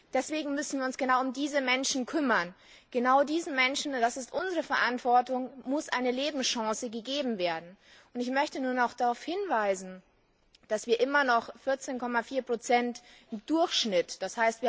Deswegen müssen wir uns genau um diese Menschen kümmern. Genau diesen Menschen und das ist unsere Verantwortung muss eine Lebenschance gegeben werden. Ich möchte darauf hinweisen, dass wir immer noch 14,4 im Durchschnitt, d.